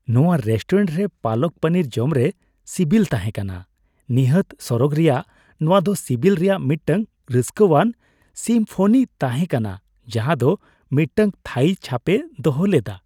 ᱱᱟᱶᱟ ᱨᱮᱥᱴᱩᱨᱮᱱᱴ ᱨᱮ ᱯᱟᱞᱟᱠ ᱯᱚᱱᱤᱨ ᱡᱚᱢᱨᱮ ᱥᱤᱵᱤᱞ ᱛᱟᱦᱮᱸ ᱠᱟᱱᱟ ᱱᱤᱦᱟᱹᱛ ᱥᱚᱨᱚᱜ ᱨᱮᱭᱟᱜ , ᱱᱚᱶᱟ ᱫᱚ ᱥᱤᱵᱤᱞ ᱨᱮᱭᱟᱜ ᱢᱤᱫᱴᱟᱝ ᱨᱟᱹᱥᱠᱟᱹᱣᱟᱱ ᱥᱤᱢᱯᱷᱚᱱᱤ ᱛᱟᱦᱮᱸ ᱠᱟᱱᱟ ᱡᱟᱦᱟᱸᱫᱚ ᱢᱤᱫᱴᱟᱝ ᱛᱷᱟᱹᱭᱤ ᱪᱷᱟᱯᱮ ᱫᱚᱦᱚ ᱞᱮᱫᱟ ᱾